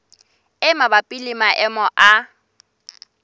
e mabapi le maemo a